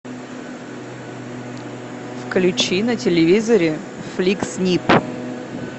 включи на телевизоре фликс снип